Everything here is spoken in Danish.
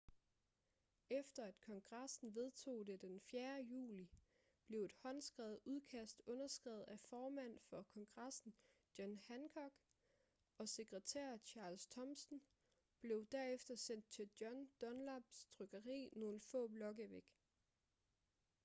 efter at kongressen vedtog det den 4. juli blev et håndskrevet udkast underskrevet af formand for kongressen john hancock og sekretær charles thomsen blev derefter sendt til john dunlaps trykkeri nogle få blokke væk